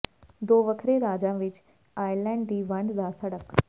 ਦੋ ਵੱਖਰੇ ਰਾਜਾਂ ਵਿੱਚ ਆਇਰਲੈਂਡ ਦੀ ਵੰਡ ਦਾ ਸੜਕ